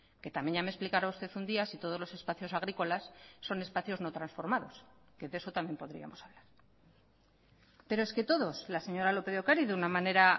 que también ya me explicará usted un día si todos los espacios agrícolas son espacios no transformados que de eso también podríamos hablar pero es que todos la señora lópez de ocariz de una manera